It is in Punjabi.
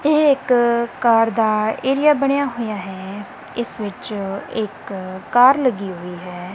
ਏਹ ਇੱਕ ਕਾਰ ਦਾ ਏਰੀਆ ਬਣਿਆ ਹੋਇਆ ਹੈ ਇੱਸ ਵਿੱਚ ਇੱਕ ਕਾਰ ਲੱਗੀ ਹੋਈ ਹੈ।